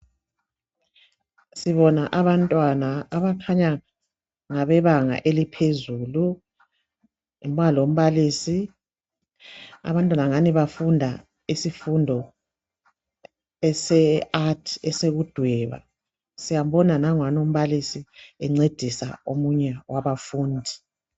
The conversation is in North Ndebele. Sibona abantwana abakhanya ngabebanga eliphezulu Kuba lombalisi. Abantwana angani bafunda isifundo ese art esokudweba Siyambona nangwana umbalisi encedisa omunye wabafundi